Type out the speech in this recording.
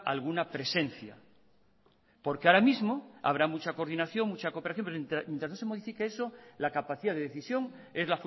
alguna presencia porque ahora mismo habrá mucha coordinación mucha cooperación pero mientras no se modifique eso la capacidad de decisión es